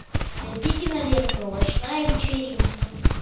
найди киноленту овощная вечеринка